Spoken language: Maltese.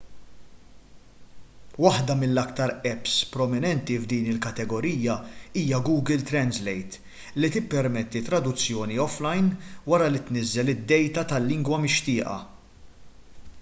waħda mill-aktar apps prominenti f'din il-kategorija hija google translate li tippermetti traduzzjoni offline wara li tniżżel id-dejta tal-lingwa mixtieqa